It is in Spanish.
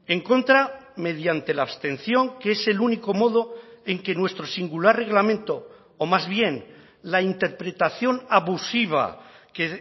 en contra mediante la abstención que es el único modo en que nuestro singular reglamento o más bien la interpretación abusiva que